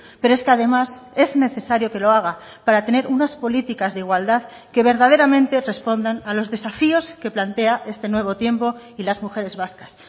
pero es que además es necesario que lo haga para tener unas políticas de igualdad que verdaderamente respondan a los desafíos que plantea este nuevo tiempo y las mujeres vascas